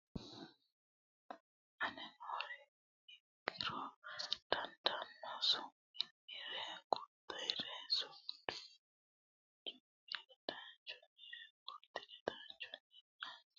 aane noore ikkara dandaanno Su munnire gurdunnire su mi ledaanchunnire gurdi ledaanchunnirenna xaadisaanonnire Leellishaanonnire qummisaanonnire yannannire Coy fooliishsho danire kulaancho xa maancho tircho marcho gurdancho Irki raanchunna guutu coy handaarire Babbaxxitino.